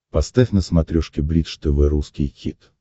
поставь на смотрешке бридж тв русский хит